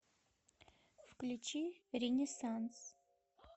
включи ренессанс